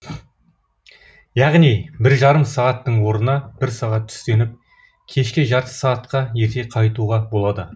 яғни бір жарым сағаттың орнына бір сағат түстеніп кешке жарты сағатқа ерте қайтуға болады